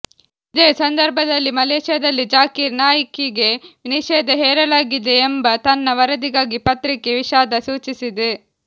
ಇದೇ ಸಂದರ್ಭದಲ್ಲಿ ಮಲೇಶಿಯಾದಲ್ಲಿ ಝಾಕಿರ್ ನಾಯ್ಕಿಗೆ ನಿಷೇಧ ಹೇರಲಾಗಿದೆ ಎಂಬ ತನ್ನ ವರದಿಗಾಗಿ ಪತ್ರಿಕೆ ವಿಷಾದ ಸೂಚಿಸಿದೆ